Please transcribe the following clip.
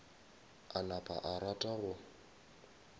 a napa a rata go